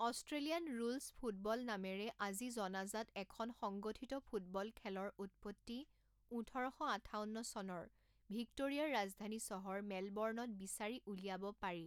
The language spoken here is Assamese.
অষ্ট্ৰেলিয়ান ৰুলছ ফুটবল নামেৰে আজি জনাজাত এখন সংগঠিত ফুটবল খেলৰ উৎপত্তি ওঠৰ শ আঠাৱন্ন চনৰ ভিক্টোৰিয়াৰ ৰাজধানী চহৰ মেলবৰ্ণত বিচাৰি উলিয়াব পাৰি৷